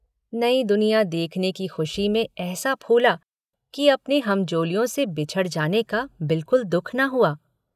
नई दुनिया देखने की खुशी में ऐसा फूला कि अपने हमजोलियों से बिछुड़ जाने का बिल्कुल दुःख न हुआ।